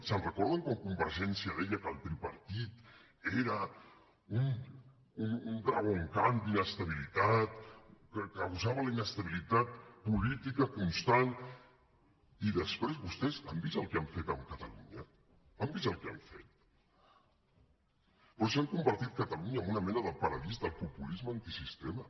se’n recorden quan convergència deia que el tripartit era un dragon khan d’inestabilitat que abusava de la inestabilitat política constant i després vostès han vist el que han fet amb catalunya han vist el que han fet però si han convertit catalunya en una mena de paradís del populisme antisistema